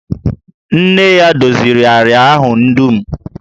Nne ya doziri àrịá ahụ dum